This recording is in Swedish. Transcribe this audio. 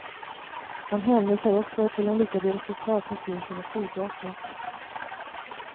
Han hänvisar också till de lyckade resultat som finns inom flygvapnet.